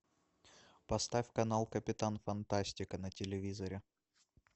поставь канал капитан фантастика на телевизоре